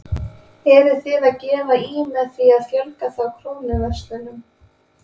Eruð þið að gefa í með því að fjölga þá Krónuverslunum?